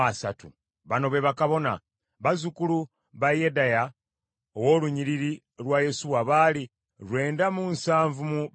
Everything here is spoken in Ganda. Bano be bakabona: bazzukulu ba Yedaya ow’olunnyiriri lwa Yesuwa baali lwenda mu nsavu mu basatu (973),